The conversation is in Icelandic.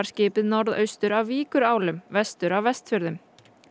skipið norðaustur af vestur af Vestfjörðum